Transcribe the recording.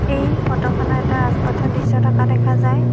এই ফটোখনত এটা ৰাজ পাথৰ দৃশ্য থকা দেখা যায়।